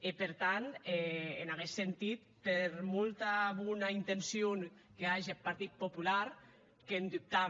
e per tant en aguest sentit per molt bona intencion qu’age eth partit popular qu’en dubtam